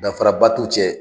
Danfara ba t'u cɛ.